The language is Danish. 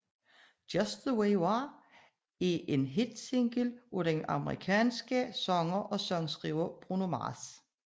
Just the Way You Are er en hitsingle af den amerikanske sanger og sangskriver Bruno Mars